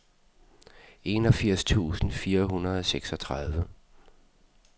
enogfirs tusind fire hundrede og seksogtredive